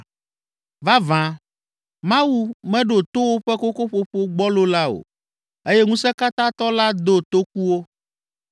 Vavã, Mawu meɖo to woƒe kokoƒoƒo gbɔlo la o eye Ŋusẽkatãtɔ la do toku wo.